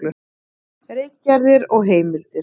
Ritgerðir og heimildir.